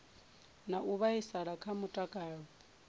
na u vhaisala kha mutakalo